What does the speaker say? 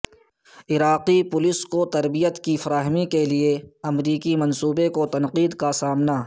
عراقی پولیس کو تربیت کی فراہمی کے امریکی منصوبے کو تنقید کا سامنا